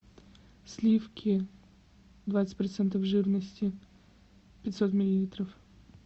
сливки двадцать процентов жирности пятьсот миллилитров